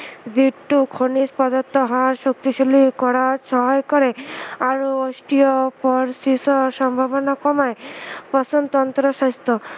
যিটো খনিজ পদাৰ্থ হাড় শক্তিশালী কৰাত সহায় কৰে আৰু osteoporosis ৰ সম্ভাৱনা কমায় পাচন তন্ত্ৰ স্ৱাস্থ্য়